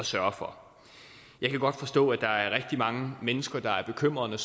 sørge for jeg kan godt forstå at der er rigtig mange mennesker der er bekymrede